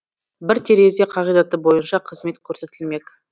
бір терезе қағидаты бойынша қызмет көрсетілмек